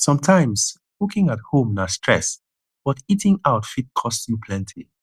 sometimes cooking at home na stress but eating out fit cost you plenty